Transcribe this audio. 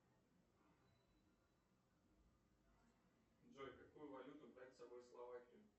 джой какую валюту брать с собой в словакию